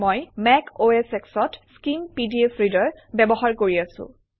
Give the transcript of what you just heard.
মই Mac OS X অত Skim PDF reader ব্যৱহাৰ কৰি আছোঁ